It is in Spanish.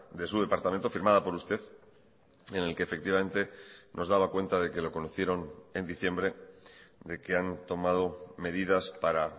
de su departamento firmada por usted en el que efectivamente nos daba cuenta de que lo conocieron en diciembre de que han tomado medidas para